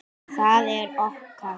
Það er okkar.